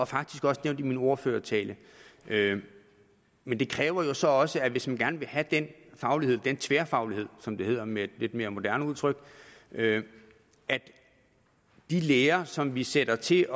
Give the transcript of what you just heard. faktisk også nævnt i min ordførertale men det kræver jo så også hvis man gerne vil have den faglighed den tværfaglighed som det hedder med et lidt mere moderne udtryk at de lærere som vi sætter til